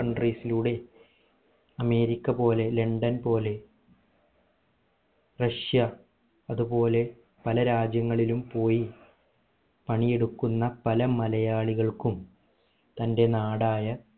countries ലൂടെ America പോലെ London പോലെ റഷ്യ അതുപോലെ പല രാജ്യങ്ങളിലും പോയി പണി എടുക്കുന്ന പല മലയാളികൾക്കും തന്റെ നാടായ